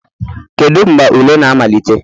Kedu mgbe ule na-amalite